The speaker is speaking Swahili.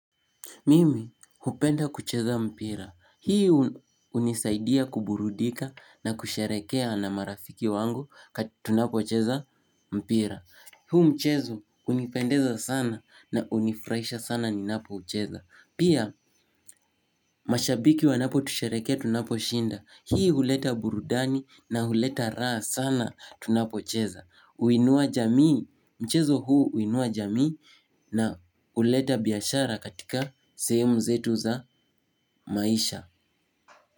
Mimi, hupenda kucheza mpira. Hii hunisaidia kuburudika na kusherehekea na marafiki wangu tunapocheza mpira. Huu mchezo hunipendeza sana na hunifurahisha sana ninapoucheza. Pia, mashabiki wanapotusherehekea tunaposhinda. Hii huleta burudani na huleta raha sana tunapocheza. Huinua jamii, mchezo huu huinua jamii na huleta biashara katika sehemu zetu za maisha.